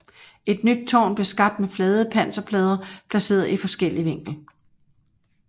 Et nyt tårn blev skabt med flade panserplader placeret i forskellig vinkel